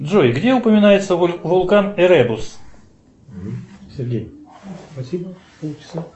джой где упоминается вулкан эребус